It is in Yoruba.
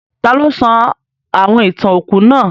Taló sọ àwon ìtàn òkú náà?